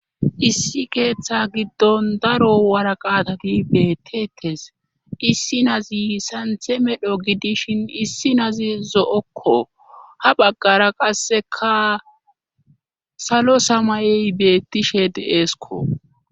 Issi keeththa giddon daro woraqatati beettettes. Issi nazi saanthe medho gidishin issi nazi zo'okko. Ha baggara qasseka salo samayeyi beettishe deesko.